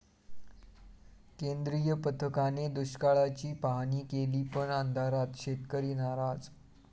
केंद्रीय पथकाने दुष्काळाची पाहाणी केली पण अंधारात, शेतकरी नाराज!